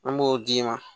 An b'o d'i ma